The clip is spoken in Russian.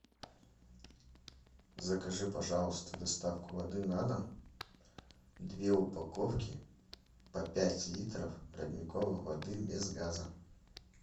закажи пожалуйста доставку воды на дом две упаковки по пять литров родниковой воды без газа